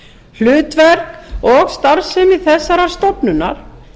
hlutverk og starfsemi þessarar stofnunar